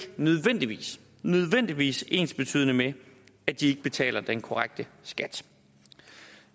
nødvendigvis nødvendigvis ensbetydende med at de ikke betaler den korrekte skat